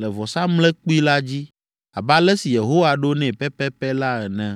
le vɔsamlekpui la dzi abe ale si Yehowa ɖo nɛ pɛpɛpɛ la ene.